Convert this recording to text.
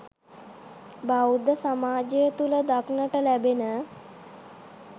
බෞද්ධ සමාජය තුළ දක්නට ලැබෙන